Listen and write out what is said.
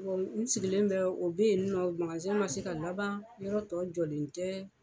Bon n sigilen bɛ o bɛ yen magasin ma se ka laban yɔrɔ tɔ jɔlen tɛ.